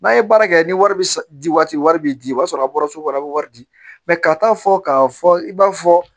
N'a ye baara kɛ ni wari di waati wari bi di o b'a sɔrɔ a bɔra so kɔnɔ a bi wari di ka taa fɔ k'a fɔ i b'a fɔ